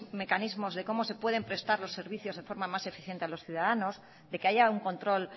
mecanismos de cómo se pueden prestar los servicios de forma más eficiente a os ciudadanos de que haya un control